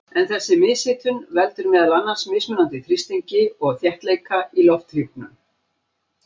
En þessi mishitun veldur meðal annars mismunandi þrýstingi og þéttleika í lofthjúpnum.